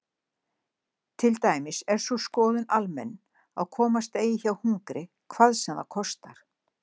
Til dæmis er sú skoðun almenn að komast eigi hjá hungri hvað sem það kostar.